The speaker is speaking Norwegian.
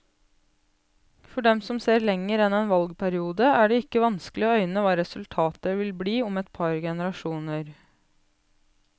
For dem som ser lenger enn en valgperiode, er det ikke vanskelig å øyne hva resultatet vil bli om et par generasjoner.